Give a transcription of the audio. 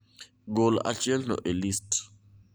Gol achielno e list